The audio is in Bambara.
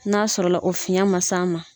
N'a sɔrɔ la o fiyɛn ma s'a ma